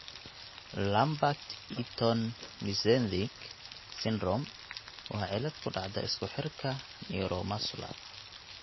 Lambert Eaton myasthenic syndrome (LEMS) waa cillad ku dhacda isku xirka neuromuscular.